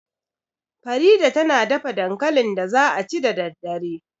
Farida ta na dafa dankalin da za a ci da daddare